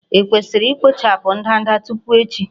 E kwesịrị ikpochapụ ndanda tupu echi?